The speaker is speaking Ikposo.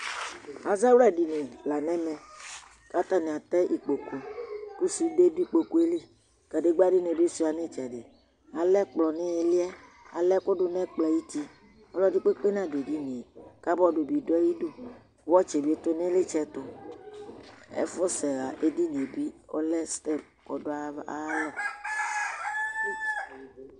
ɑzɑwlạɗiɲi lɑɲɛvẽ kɑtɑɲiɑtɛ ikpokʊ kụsʊɗɛ ɗu ikpọkʊɛli kăɗigbãɲibi hʊɑɲitsɛɗi ɑlɛ kplọɲïliɛ ɑléfʊɗω ɲɛkplọɑyʊti ɔlọɗikpɛkpɛ ɲɑɖʊɛɗiɲiɛ kɑboɗ biɗʊɑyiɖụ ẅɑtsibi tʊɲilitsɛtụ éfωsɛhɑ ɛɗiɲiɛbi ọlɛ stɛléɔɗʊɑlɔ